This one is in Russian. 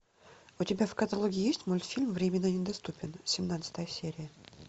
у тебя в каталоге есть мультфильм временно недоступен семнадцатая серия